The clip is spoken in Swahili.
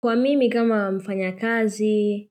Kwa mimi kama mfanya kazi